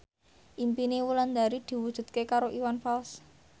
impine Wulandari diwujudke karo Iwan Fals